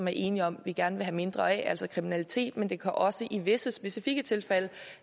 er enige om vi gerne vil have mindre af altså kriminalitet men det kan også i visse specifikke tilfælde